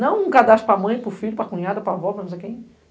Não um cadastro para mãe, para o filho, para cunhada, para avó, para não sei quem.